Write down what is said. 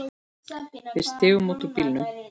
Við stigum út úr bílnum.